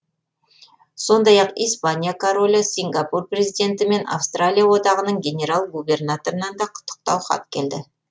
сондай ақ испания королі сингапур президенті мен австралия одағының генерал губернаторынан да құттықтау хат келді